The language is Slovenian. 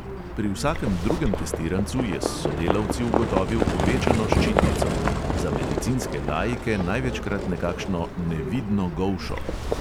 Pri vsakem drugem testirancu je s sodelavci ugotovil povečano ščitnico – za medicinske laike največkrat nekakšno "nevidno golšo".